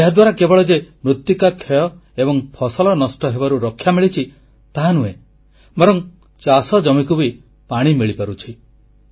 ଏହାଦ୍ୱାରା କେବଳ ଯେ ମୃତ୍ତିକାକ୍ଷୟ ଏବଂ ଫସଲ ନଷ୍ଟ ହେବାରୁ ରକ୍ଷା ମିଳିଛି ତାହାନୁହେଁ ବରଂ ଚାଷଜମିକୁ ବି ପାଣି ମିଳିପାରୁଛି